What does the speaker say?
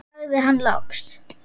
sagði hann loks.